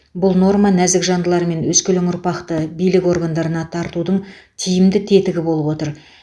бұл норма нәзік жандылар мен өскелең ұрпақты билік органдарына тартудың тиімді тетігі болып отыр